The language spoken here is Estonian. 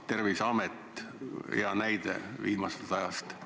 Terviseamet hea näide viimasest ajast.